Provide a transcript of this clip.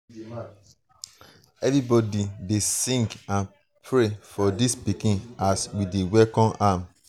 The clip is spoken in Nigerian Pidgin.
everybody um dey sing um and pray for dis pikin as we dey welcome am.